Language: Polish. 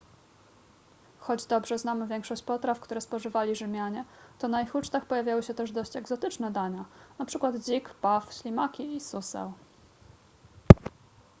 choć dobrze znamy większość potraw które spożywali rzymianie to na ich ucztach pojawiały się też dość egzotyczne dania np dzik paw ślimaki i suseł